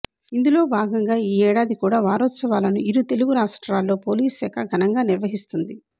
ఇందులో భాగంగా ఈ ఏడాది కూడా వారోత్సవాలను ఇరు తెలుగు రాష్ట్రాల్లో పోలీస్ శాఖ ఘనంగా నిర్వహిస్తోంది